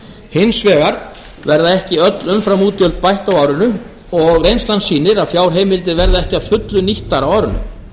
hins vegar verða ekki öll umframútgjöld bætt á árinu og reynslan sýnir að fjárheimildir verða ekki að fullu nýttar á árinu